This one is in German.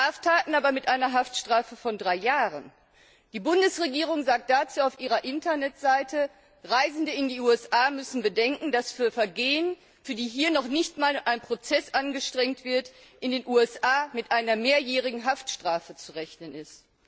Andere Straftaten aber mit einer Haftstrafe von drei Jahren die Bundesregierung sagt dazu auf ihrer Internetseite Reisende in die USA müssen bedenken, dass für Vergehen, für die hier noch nicht einmal ein Prozess angestrengt wird, in den USA mit einer mehrjährigen Haftstrafe zu rechnen ist.